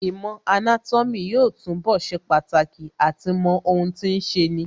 Īmò anátómī yóò túnbọ̀ ṣe pàtàkì àti mọ ohun tí ń ṣeni